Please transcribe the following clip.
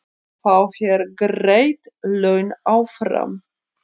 Fá þeir greidd laun áfram?